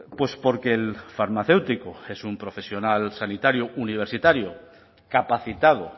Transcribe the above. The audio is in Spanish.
pues porque el farmacéutico es un profesional sanitario universitario capacitado